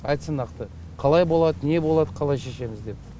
айтсын нақты қалай болады не болады қалай шешеміз деп